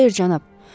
Xeyr cənab.